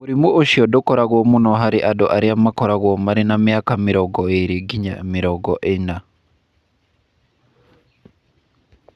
Mũrimũ ũcio ndũkoragwo mũno harĩ andũ arĩa makoragwo marĩ na mĩaka mĩrongo ĩĩrĩ nginya mĩrongo ĩnya.